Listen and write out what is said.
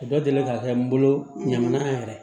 Dɔ deli ka kɛ n bolo ɲaman yɛrɛ ye